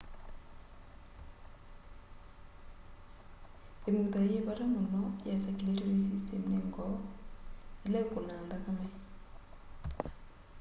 imutha yi vata muno ya circulatory system ni ngoo ila ikunaa nthakame